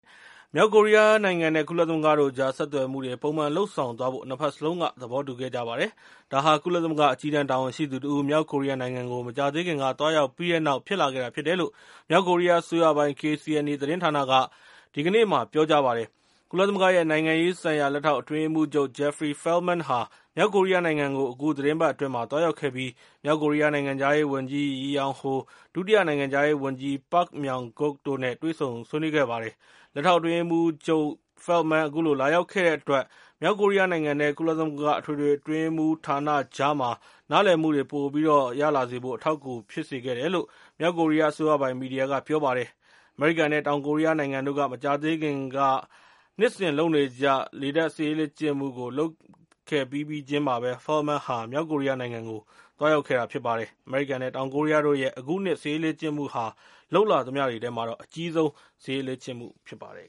မြောက်ကိုရီးယားနိုင်ငံနဲ့ ကုလသမဂ္ဂတို့ကြား ဆက်သွယ်မှုတွေ ပုံမှန်လုပ်ဆောင်သွားဖို့ ၂ ဘက်စလုံးက သဘောတူ ခဲ့ကြပါတယ်။ ဒါဟာ ကုလသမဂ္ဂ အကြီးတန်းတာဝန်ရှိသူတဦး မြောက်ကိုရီးယားနိုင်ငံကို မကြာသေးခင်က သွားရောက် ခဲ့ပြီးတဲ့နောက် ဖြစ်လာခဲ့တာ ဖြစ်တယ်လို့ မြောက်ကိုရီးယားအစိုးရပိုင် KCNA သတင်းဌာနက စနေနေ့မှာပြောပါတယ်။ ကုလသမဂ္ဂရဲ့ နိုင်ငံရေးဆိုင်ရာ လက်ထောက်အတွင်းရေးမှူးချုပ် Jeffrey Feltman ဟာ မြောက်ကိုရီးယားနိုင်ငံကို အခုသီတင်းပတ်အတွင်းမှာ သွားရောက်ခဲ့ပြီး၊ မြောက်ကိုရီးယား နိုင်ငံခြားရေးဝန်ကြီး Ri Yong Ho ၊ ဒုတိယနိုင်ငံခြားရေးဝန်ကြီး Pak Myong Guk တို့နဲ့ တွေ့ဆုံဆွေးနွေးခဲ့ပါတယ်။ လက်ထောက်အတွင်းအရေးမှူးချုပ်ရဲ့ Feltman အခုလို လာရောက်ခဲ့တဲ့အတွက်၊ မြောက် ကိုရီးယားနိုင်ငံနဲ့ ကုလသမဂ္ဂရဲ့အထွေထွေ အတွင်းရေးမှူး ဌာနကြားမှာ နားလည်မှုတွေ ပိုရလာစေဖို့အတွက် အထောက်အကူပေး ခဲ့တယ်လို့ မြောက်ကိုရီးယားအစိုးရပိုင် မီဒီယာက ပြောပါတယ်။ အမေရိကန်နဲ့ တောင်ကိုရီးယားနိုင်ငံတို့က မကြာသေးခင်ကပဲ နှစ်စဉ်လုပ်နေကြ လေတပ် စစ်ရေးလေ့ကျင့်မှုကို လုပ်ခဲ့ပြီးပြီးချင်းမှာပဲ Feltman မြောက်ကိုရီးယားနိုင်ငံ သွားရောက် ခဲ့တာဖြစ်ပါတယ်။ အမေရိကန် နဲ့ တောင်ကိုရီးယားတို့ရဲ့ အခုနှစ် စစ်ရေးလေ့ကျင့်မှုဟာ လုပ်လာခဲ့သမျှတွေထဲမှာ အကြီးဆုံး စစ်ရေးလေ့ကျင့်မှု ဖြစ်ပါတယ်